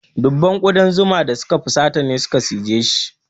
Dubban ƙudan zuma da suka fusata ne suka cijeshi.